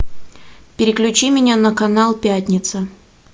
переключи меня на канал пятница